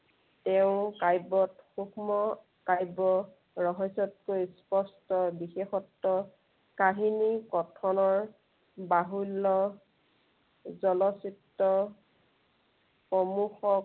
তেওঁৰ কাব্য়ত সুক্ষ্ম কাব্য় ৰহস্য়তকৈ স্পষ্ট বিশেষত্ব, কাহিনী কথনৰ, বাহুল্য় জনচিত্ৰ সমূহত